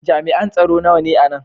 Jami'an tsaro nawa ne a nan?